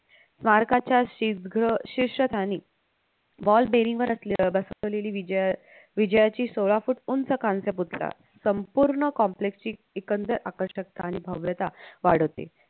स्मारकाच्या शिसघ शीर्षकाने wall bearing वर असले अह बसवलेली विजय विजयाची सोळा foot उंच कांस्य पुतळा संपूर्ण complex ची एकंदर आकर्षकता आणि भव्यता वाढवते